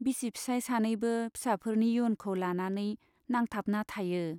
बिसि फिसाइ सानैबो फिसाफोरनि इयुनखौ लानानै नांथाबना थायो।